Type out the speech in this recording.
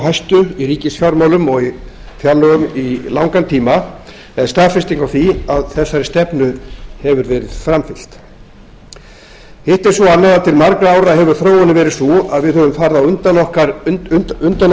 hæstu í ríkisfjármálum og í fjárlögum í langan tíma er staðfesting á því að þessari stefnu hefur verið framfylgt hitt er svo annað að til margra ára hefur þróunin verið sú að við höfum farið á undan